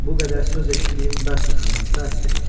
Bu qədər söz eşitdiyim bəsdir, xanım, bəsdir.